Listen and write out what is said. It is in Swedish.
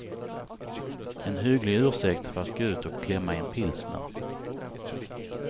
En hygglig ursäkt för att gå ut och klämma en pilsner.